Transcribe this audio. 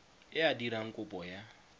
e a dirang kopo ya